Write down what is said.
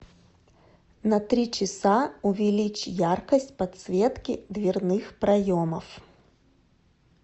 на три часа увеличь яркость подсветки дверных проемов